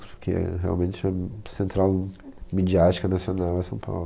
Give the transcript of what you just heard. Porque realmente a central midiática nacional é São Paulo.